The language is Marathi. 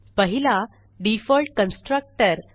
पहिला डिफॉल्ट कन्स्ट्रक्टर